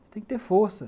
Você tem que ter força.